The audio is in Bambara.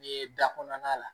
Ni da kɔnɔna la